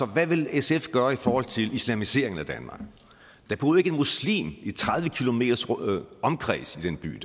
hvad vil sf gøre i forhold til islamiseringen af danmark der boede ikke en muslim i tredive kilometers omkreds af den by